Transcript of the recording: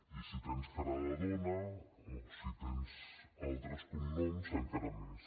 i si tens cara de dona o si tens altres cognoms encara més